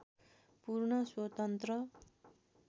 पूर्ण स्वतन्त्र